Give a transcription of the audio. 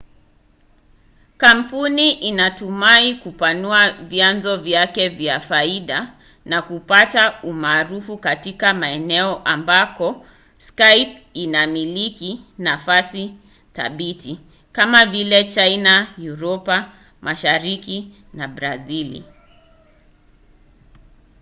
kampuni inatumai kupanua vyanzo vyake vya faida na kupata umaarufu katika maeneo ambako skype inamiliki nafasi thabiti kama vile china uropa mashariki na brazili